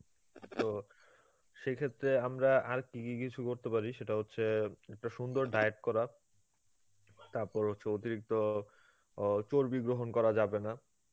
তো সেইক্ষেত্রে আমরা আর কী কী কিছু করেতে পারি সেটা হচ্ছে একটা সুন্দর diet করা, তারপর হচ্ছে অতিরিক্ত অ চর্বি গ্রহণ করা যাবে না.